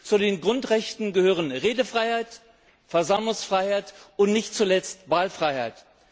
Zu den Grundrechten gehören Redefreiheit, Versammlungsfreiheit und nicht zuletzt Wahlfreiheit.